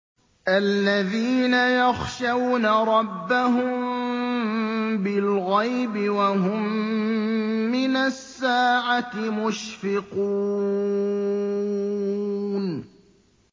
الَّذِينَ يَخْشَوْنَ رَبَّهُم بِالْغَيْبِ وَهُم مِّنَ السَّاعَةِ مُشْفِقُونَ